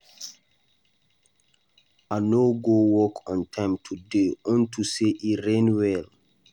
I no go work on time today unto say e rain well.